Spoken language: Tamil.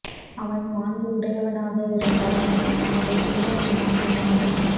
அவன் மாண்பு உடையவனாக இருந்தால் அவன் நாடு துன்பம் இல்லாமல் வாழும்